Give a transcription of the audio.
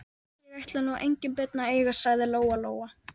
Greiðslan var rausnarleg og raunar ríflega það.